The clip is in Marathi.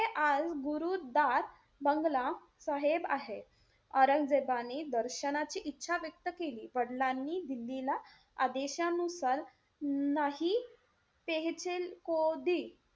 हे आज गुरु दास बांगला साहेब आहे. औरंगजेबाने दर्शनाची इच्छा व्यक्त केली. वडिलांनी दिल्लीला आदेशानुसार नाही तेहे